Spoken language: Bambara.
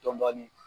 Dɔɔnin dɔɔnin